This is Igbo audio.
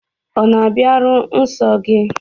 Ọ̀ na-abịaru nsọ gị?